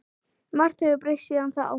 Margt hefur breyst síðan þá.